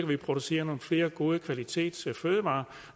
vi producere nogle flere gode kvalitetsfødevarer